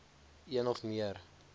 een of meer